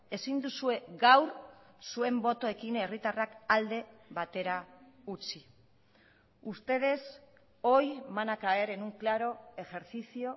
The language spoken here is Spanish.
ezin duzue gaur zuen botoekin herritarrak alde batera utzi ustedes hoy van a caer en un claro ejercicio